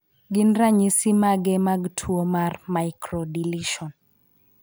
Gin ranyisi mage mag tuo mar 15q11.2 microdeletion?